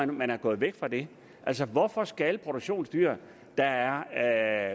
man er gået væk fra det altså hvorfor skal produktionsdyr der